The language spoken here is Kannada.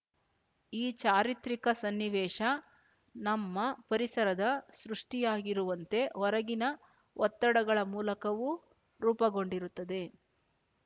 ಈ ಚಾರಿತ್ರಿಕ ಸನ್ನಿವೇಶ ನಮ್ಮ ಪರಿಸರದ ಸೃಷ್ಟಿಯಾಗಿರುವಂತೆ ಹೊರಗಿನ ಒತ್ತಡಗಳ ಮೂಲಕವೂ ರೂಪಗೊಂಡಿರುತ್ತದೆ